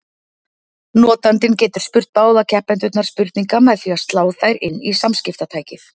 Notandinn getur spurt báða keppendurna spurninga með því að slá þær inn í samskiptatækið.